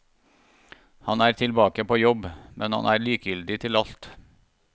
Han er tilbake på jobb, men han er likegyldig til alt.